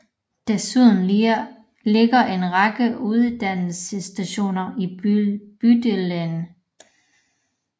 Desuden ligger en række uddannelsesinstitutioner i bydelen